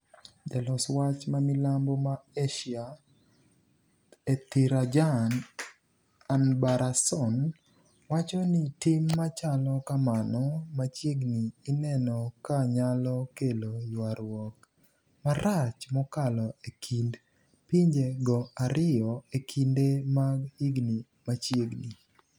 jalos wach mamilambo ma Asia Ethirajan Anbarason wacho ni tim machalo kamano machiegni ineno ka nyalo kelo ywaruok marach mokalo e kind pinje go ariyo e kinde mag higni machiegni.